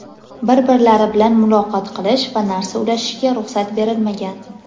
bir-birlari bilan muloqot qilish va narsa ulashishga ruxsat berilmagan.